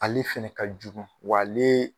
Ale fɛnɛ ka jugu w'ale